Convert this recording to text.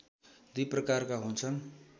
दुई प्रकारका हुन्छन्